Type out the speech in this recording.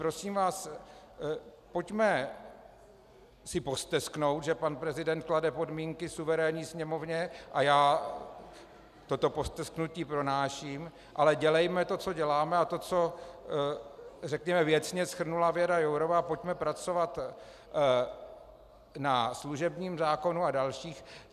Prosím vás, pojďme si postesknout, že pan prezident klade podmínky suverénní Sněmovně, a já toto postesknutí pronáším, ale dělejme to, co děláme, a to, co řekněme věcně shrnula Věra Jourová: pojďme pracovat na služebním zákonu a dalších.